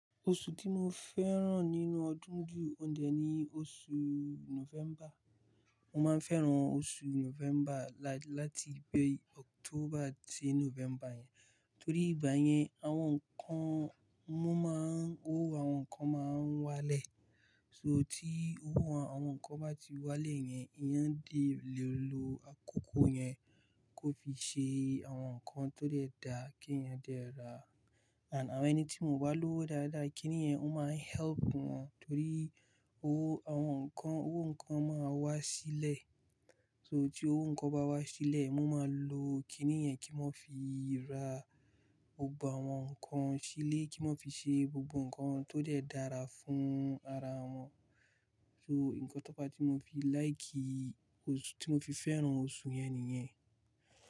Oṣù tí mo fẹ́ràn nínú ọdún ju òun dẹ̀ ni oṣù November. Mo máa ń fẹ́ràn oṣù November láti ibi October dé November yẹn. Torí ìgbà yẹn, àwọn nǹkan, wọ́n máa ń, owó àwọn nǹkan máa ń wá lẹ̀. So tí owó àwọn nǹkan bá ti wá lẹ̀ yẹn, eeyan dé lè lo àkókò yẹn kó fi ṣe àwọn nǹkan tó dẹ̀ da kí èèyàn dẹ̀ rà. And àwọn ẹni tí mo bá lọ́ dáadáa kiní yẹn, wọ́n máa ń help wọn torí owó àwọn nǹkan, owó nǹkan máa wá sílẹ̀. So tí owó nǹkan bá wá sílẹ̀, wọ́n máa lo kiní yẹn kí wọ́n fi ra gbogbo àwọn nǹkan sílé, kí wọ́n fi ṣe gbogbo nǹkan tó dẹ̀ dára fún ara wọn. So nǹkan tó pa tí mo fi like oṣù tí mo fi fẹ́ràn oṣù yẹn nìyẹn.